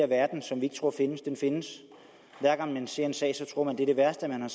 verden som vi ikke tror findes findes hver gang man ser en sag tror man det er det værste man